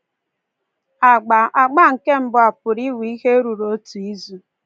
Agba Agba nke mbụ a pụrụ iwe ihe ruru otu izu.